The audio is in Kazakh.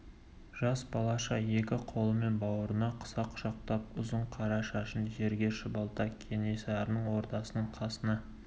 жас балаша екі қолымен бауырына қыса құшақтап ұзын қара шашын жерге шұбалта кенесарының ордасының қасына